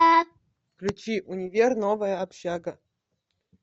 включи универ новая общага